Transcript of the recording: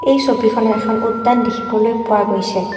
এই ছবিখনত এখন উদ্যান দেখিবলৈ পোৱা গৈছে।